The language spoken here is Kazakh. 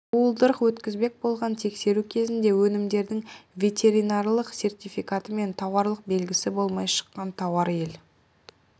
уылдырық өткізбек болған тексеру кезінде өнімдердің ветеринарлық сертификаты мен тауарлық белгісі болмай шыққан тауар ел